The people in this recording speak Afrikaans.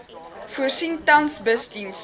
voorsien tans busdienste